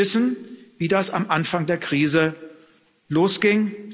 Sie wissen, wie das am Anfang der Krise losging.